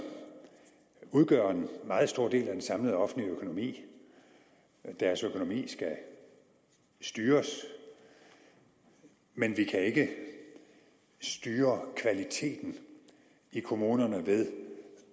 udgør en meget stor del af den samlede offentlige økonomi og deres økonomi skal styres men vi kan ikke styre kvaliteten i kommunerne ved